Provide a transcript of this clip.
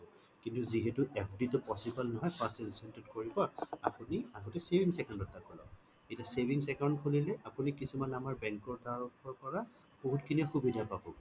কিন্তু যিহেতু FD টো possible নহয় first instant ত কৰিব আপুনি আগতে savings account এটা খোলক এতিয়া savings account খুলিলে আপুনি কিছুমান আমাৰ bank ৰ তৰফৰ পৰা বহুত খিনি সুবিধা পাবগে